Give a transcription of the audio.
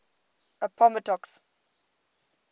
appomattox